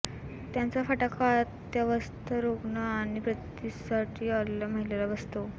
त्याचा फटका अत्यवस्थ रुग्ण आणि प्रसूतीसाठी आलेल्या महिलेला बसतो